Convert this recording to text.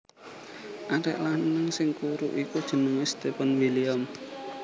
Arek lanang sing kuru iku jenenge Stefan William